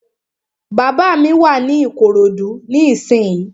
Bàbá mi wà ní Ìkòròdú ní ìsínyi